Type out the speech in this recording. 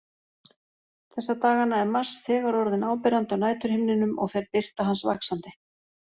Þessa dagana er Mars þegar orðinn áberandi á næturhimninum og fer birta hans vaxandi.